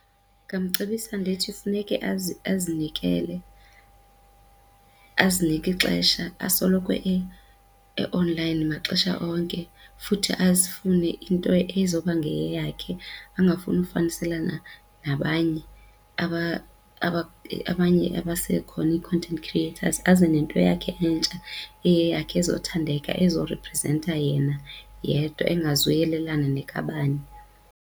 Ndingamcebisa ndithi funeke azinikele, azinike ixesha asoloko e-online maxesha onke futhi azifune into ezoba ngeyakhe angafuni ufaniselana nabanye abanye abasekhona ii-content creators aze nento yakhe entsha eyeyakhe ezothandeka ezo reprizenta yena yedwa engazuyelelana nekabani.